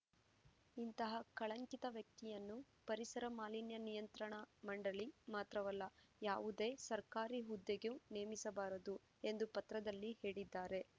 ಇಂತಹ ಕಳಂಕಿತ ವ್ಯಕ್ತಿಯನ್ನು ಪರಿಸರ ಮಾಲಿನ್ಯ ನಿಯಂತ್ರಣ ಮಂಡಳಿ ಮಾತ್ರವಲ್ಲ ಯಾವುದೇ ಸರ್ಕಾರಿ ಹುದ್ದೆಗೂ ನೇಮಿಸಬಾರದು ಎಂದು ಪತ್ರದಲ್ಲಿ ಹೇಳಿದ್ದಾರೆ